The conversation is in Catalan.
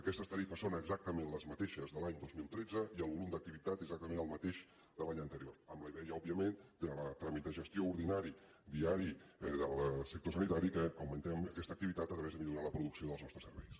aquestes tarifes són exactament les mateixes de l’any dos mil tretze i el volum d’activitat és exactament el mateix que l’any anterior amb la idea òbviament en el tràmit de gestió ordinari diari del sector sanitari que augmentem aquesta activitat a través de millorar la producció dels nostres serveis